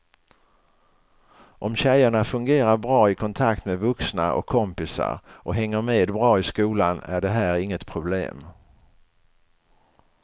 Om tjejerna fungerar bra i kontakt med vuxna och kompisar och hänger med bra i skolan är det här inget problem.